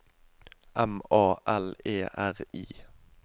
M A L E R I